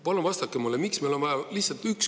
Palun vastake mulle lühidalt, pole vaja pikalt.